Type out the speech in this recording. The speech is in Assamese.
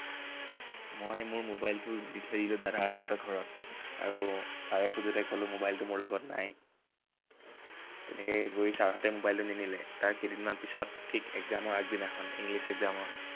মই মোৰ mobile টো দি থৈ আহিলো দাদাহঁতৰ ঘৰত। আৰু sir এ খোজোতে কলো mobile টো মোৰ লগত নাই। তেনেকে গৈ sir হঁতে mobile টো নিনিলে। তাৰ কেইদিনমান পিছত, ঠিক exam ৰ আগদিনাখন। english exam ৰ